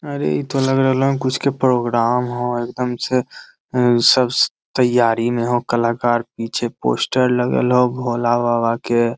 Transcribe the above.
अरे इ ता लग रहल है कुछ के प्रोग्राम हो एकदम से उ सब त्यारी में हो कलाकर पीछे पोस्टर लगल हो भोला बाबा के।